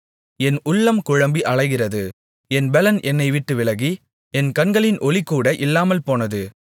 என் உள்ளம் குழம்பி அலைகிறது என் பெலன் என்னைவிட்டு விலகி என் கண்களின் ஒளி கூட இல்லாமல்போனது